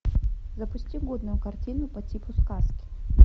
запусти годную картину по типу сказки